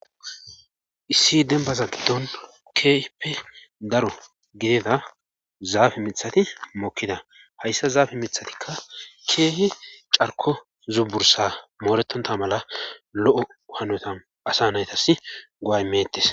issi demba zadidon kipe daro gideda zaafe mithati mokkida hayssa zaafe mithatikka keehi carko zubursa mooretonta mala lo7o hanotan asa naytas goay meettes